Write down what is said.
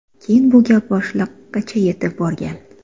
Keyin bu gap boshliqqacha yetib borgan.